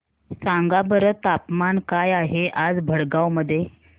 सांगा बरं तापमान काय आहे आज भडगांव मध्ये